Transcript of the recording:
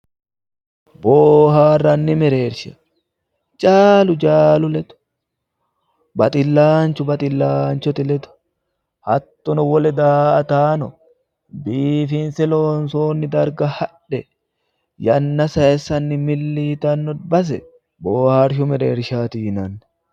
Bohaaranni mereerisha jaalu jaalu ledo baxilaanochu baxilaanichote ledo hattono wole daa'ataano biifinise loonisoonni darigga hadhe yanna sayisanni milli yitanno base booha arishu mereerishaati yinanni